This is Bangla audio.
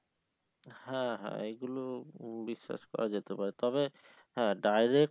হ্যাঁ হ্যাঁ এইগুলো বিশ্বাস করা যেতে পারে তবে হ্যাঁ direct